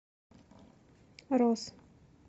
роз